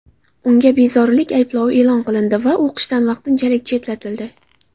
Unga bezorilik ayblovi e’lon qilindi va o‘qishdan vaqtinchalik chetlatildi.